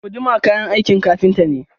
Guduma kayan aikin ƙafinta ne.